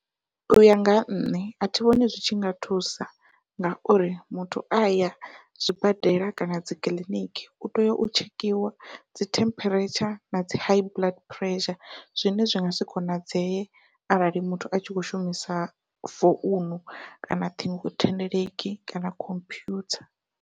Uya nga nṋe athi vhoni zwi tshi nga thusa, ngauri muthu aya zwibadela kana dzikiḽiniki u tea u tshekhiwa dzi temperature nadzi high blood pressure zwine zwi ngasi konadzeye arali muthu a tshi kho shumisa founu kana ṱhingothendeleki kana khomphutha.